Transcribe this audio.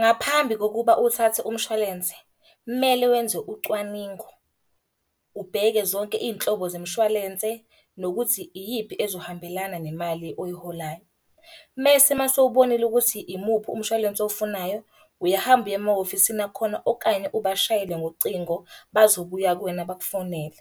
Ngaphambi kokuba uthathe umshwalense, kumele wenze ucwaningo. Ubheke zonke iy'nhlobo zemishwalense, nokuthi iyiphi ezohambelana nemali oyiholayo. Mese uma sewubonile ukuthi imuphi umshwalense owufunayo, uyahamba uye emahhovisini akhona okanye ubashayele ngocingo, bazobuya kuwena bakufonele.